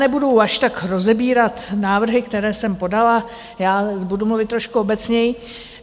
Nebudu až tak rozebírat návrhy, které jsem podala já, budu mluvit trošku obecněji.